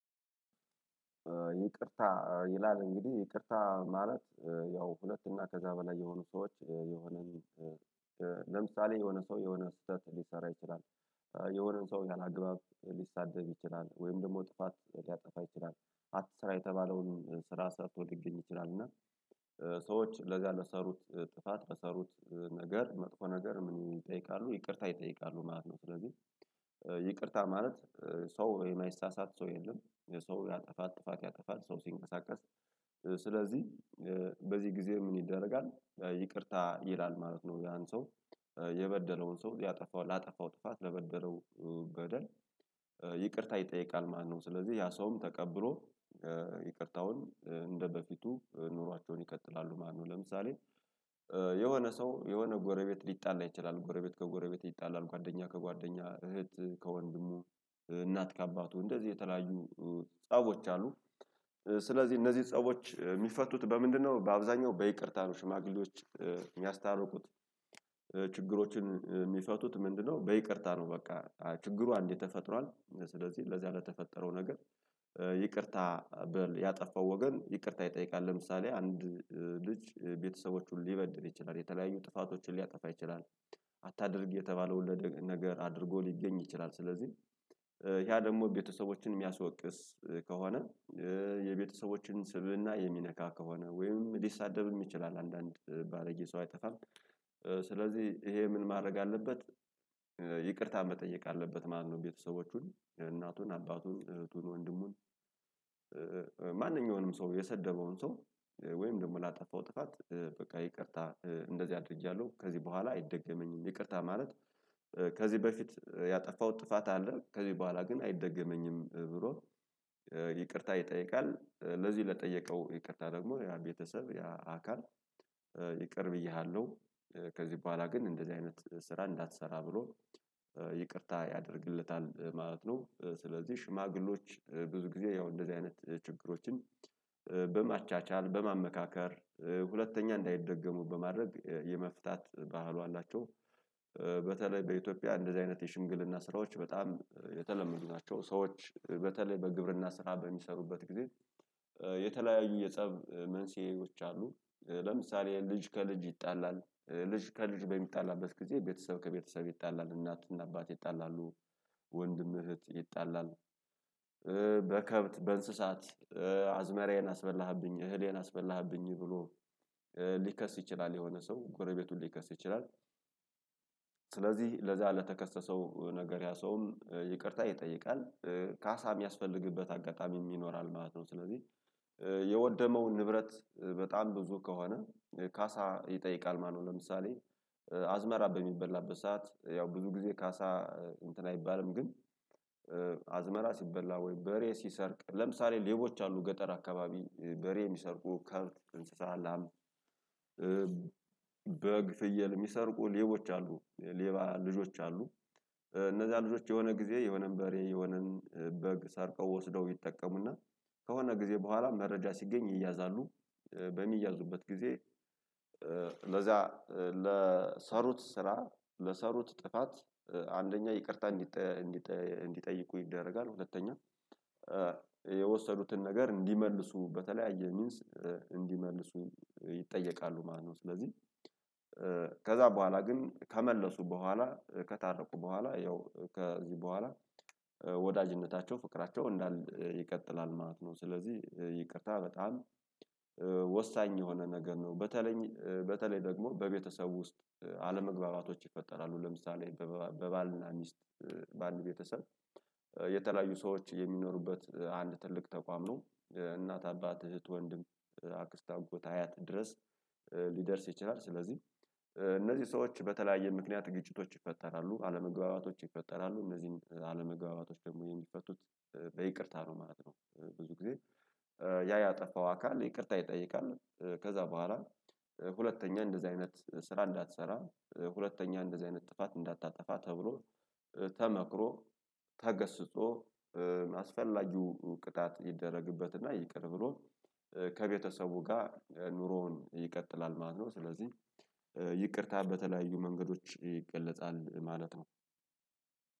ይቅርታ ይላል እንግዲህ ይቅርታ ማለት ያው ሁለት እና ከዛ በላይ የሆኑ ሰዎች የሆነን ለምሳሌ የሆነ ሰው የሆነ ስህተት ሊሰራ ይችላል። የሆነ ሰው ያላግባብ ሊሳደብ ይችላል ወይም ደግሞ ጥፋት ሊያጠፋ ይችላል። አትስራ የተባለውን ስራ ሰርቶ ሊገኝ ይችላል እና። ሰዎች ለዛ ለሰሩት ጥፋት ለሰሩት ነገር መጥፎ ነገር ምን ይጠይቃሉ ይቅርታ ይጠይቃሉ ማለት ነው። ስለዚህ ይቅርታ ማለት ሰው የማይሳሳት ሰው የለም። ሰው ያጠፋል ጥፋት ያጠፋል ሰው ሲንቀሳቀስ። ስለዚህ በዚህ ጊዜ ምን ይደረጋል? ይቅርታ ይላል ማለት ነው። ያን ሰው የበደለውን ሰው ያጠፋው ላጠፋው ጥፋት ለበደለው በደል። ይጠይቃል ማለት ነው። ስለዚህ ያ ሰውም ተቀብሮ ይቅርታውን እንደበፊቱ ኑሯቸውን ይቀጥላሉ። ማነው? ለምሳሌ የሆነ ሰው የሆነ ጎረቤት ሊጣላ ይችላል ጎረቤት ከጎረቤት ይጣላል ጓደኛ ከጓደኛ እህት ከወንድሙ እናት ከአባቱ እንደዚህ የተለያዩ ጸቦች አሉ። ስለዚህ እነዚህ ጸቦች የሚፈቱት በምንድነው? በአብዛኛው በይቅርታ ነው። ሽማግሌዎች የሚያስታርቁት ችግሮችን የሚፈቱት ምንድነው? በይቅርታ ነው። በቃ ችግሩ አንዴ ተፈጥሯል ስለዚህ ለዚህ አለ የተፈጠረው ነገር ይቅርታ በል ያጠፋው ወገን ይቅርታ ይጠይቃል። ለምሳሌ አንድ ልጅ ቤተሰቦቹን ሊበድል ይችላል የተለያዩ ጥፋቶችን ሊያጠፋ ይችላል። አታድርግ የተባለው ወለደ ነገር አድርጎ ሊገኝ ይችላል። ስለዚህ ያ ደግሞ ቤተሰቦችን የሚያስወቅስ ከሆነ የቤተሰቦችን ስብእና የሚነካ ከሆነ ወይም ሊሳደብም ይችላል አንዳንድ ባለጌ ሰው አይጠፋም። ስለዚህ ይሄ ምን ማድረግ አለበት? ይቅርታ መጠየቅ አለበት ማለት ነው። ቤተሰቦቹን እናቱን አባቱን እህቱን ወንድሙን ማንኛውንም ሰው የሰደበውን ሰው ወይም ደግሞ ላጠፋው ጥፋት በቃ ይቅርታ እንደዚህ አድርጌያለሁ ከዚህ በኋላ አይደገመኝም። ይቅርታ ማለት ከዚህ በፊት ያጠፋው ጥፋት አለ ከዚህ በኋላ ግን አይደገመኝም ብሎ ይቅርታ ይጠይቃል። ለዚህ ለጠየቀው ይቅርታ ደግሞ ያ ቤተሰብ ያ አካል ይቅር ብዬሃለሁ ከዚህ በኋላ ግን እንደዚህ አይነት ስራ እንዳትሰራ ብሎ ይቅርታ ያደርግለታል ማለት ነው። ስለዚህ ሽማግሌዎች ብዙ ጊዜ ያው እንደዚህ አይነት ችግሮችን በማቻቻል በማመካከር ሁለተኛ እንዳይደገሙ በማድረግ የመፍታት ባህሉ አላቸው። በተለይ በኢትዮጵያ እንደዚህ አይነት የሽምግልና ስራዎች በጣም የተለመዱ ናቸው። ሰዎች በተለይ በግብርና ስራ በሚሰሩበት ጊዜ የተለያዩ የጸብ መንስኤዎች አሉ። ለምሳሌ ልጅ ከልጅ ይጣላል ልጅ ከልጅ በሚጣላበት ጊዜ ቤተሰብ ከቤተሰብ ይጣላል እናትና አባት ይጣላሉ። ወንድም እህት ይጣላል። በከብት በእንስሳት አዝመራዬን አስበላህብኝ እህሌን አስበላህብኝ ብሎ ሊከስ ይችላል የሆነ ሰው ጎረቤቱን ሊከስ ይችላል። ስለዚህ ለዛ ለተከሰሰው ነገር ያ ሰውም ይቅርታ ይጠይቃል። ካሳ የሚያስፈልግበት አጋጣሚ የሚኖራል ማለት ነው። ስለዚህ የወደመውን ንብረት በጣም ብዙ ከሆነ ካሳ ይጠይቃል ማለት ነው። ለምሳሌ አዝመራ በሚበላበት ሰዓት ያው ብዙ ጊዜ ካሳ እንትን አይባልም ግን። አዝመራ ሲበላ ወይ በሬ ሲሰርቅ ለምሳሌ ሌቦች አሉ ገጠር አካባቢ በሬ የሚሰርቁ ከብት እንስሳ እንስሳለን በግ ፍየል የሚሰርቁ ሌቦች አሉ ሌባ ልጆች አሉ። እነዛ ልጆች የሆነ ጊዜ የሆነን በሬ የሆነን በግ ሳርቀው ወስደው ይጠቀሙና ከሆነ ጊዜ በኋላ መረጃ ሲገኝ ይያዛሉ። በሚያዙበት ጊዜ። ለዛ ለሰሩት ስራ ለሰሩት ጥፋት አንደኛ ይቅርታ እንዲጠይቁ ይደረጋል ሁለተኛ የወሰዱትን ነገር እንዲመልሱ በተለያየ ሚንስ እንዲመልሱ ይጠየቃሉ ማለት ነው። ስለዚህ ከዛ በኋላ ግን ከመለሱ በኋላ ከታረቁ በኋላ ያው ከዚህ በኋላ ወዳጅነታቸው ፍቅራቸው እንዳል ይቀጥላል ማለት ነው። ስለዚህ ይቅርታ በጣም ወሳኝ የሆነ ነገር ነው። በተለይ በተለይ ደግሞ በቤተሰቡ ውስጥ አለመግባባቶች ይፈጠራሉ ለምሳሌ በባልና ሚስት በአንድ ቤተሰብ የተለያዩ ሰዎች የሚኖሩበት አንድ ትልቅ ተቋም ነው። እናት አባት እህት ወንድም አክስታጎት አያት ድረስ ሊደርስ ይችላል። ስለዚህ እነዚህ ሰዎች በተለያየ ምክንያት ግጭቶች ይፈጠራሉ አለመግባባቶች ይፈጠራሉ እነዚህም አለመግባባቶች ደግሞ የሚፈቱት በይቅርታ ነው። ማለት ነው። ብዙ ጊዜ ያ ያጠፋው አካል ይቅርታ ይጠይቃል። ከዛ በኋላ ሁለተኛ እንደዚህ አይነት ስራ እንዳትሰራ ሁለተኛ እንደዚህ አይነት ጥፋት እንዳታጠፋ ተብሎ ተመክሮ ተገስጾ አስፈላጊው ቅጣት ይደረግበትና ይቅር ብሎ ከቤተሰቡ ጋር ኑሮውን ይቀጥላል ማለት ነው። ስለዚህ ይቅርታ በተለያዩ መንገዶች ይገለጻል ማለት ነው።